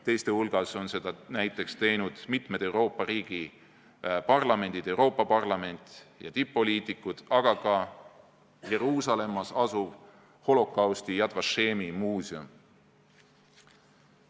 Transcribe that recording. Teiste hulgas on seda näiteks teinud mitmete Euroopa riikide parlamendid, Euroopa Parlament ja tipp-poliitikud, aga ka Jeruusalemmas asuv holokausti Yad Vashemi muuseum.